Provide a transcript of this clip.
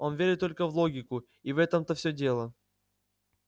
он верит только в логику и в этом-то всё дело